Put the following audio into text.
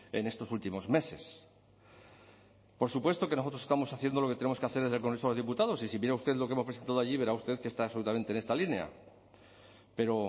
en estos últimos meses por supuesto que nosotros estamos haciendo lo que tenemos que hacer en el congreso de diputados y si mira usted lo que hemos presentado allí verá usted que está absolutamente en esta línea pero